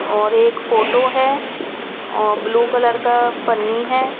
और एक फोटो है और ब्लू कलर का पन्नी है.